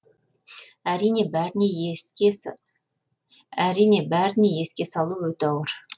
әрине бәріне еске алу өте ауыр